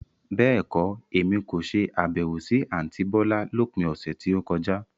Bẹ́ẹ̀kọ́, Èmi kò ṣe Àbẹ̀wò sí àntí bọ́lá lópin ọ̀sẹ̀ tí ó kọjá.